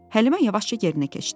Həlimə yavaşca yerinə keçdi.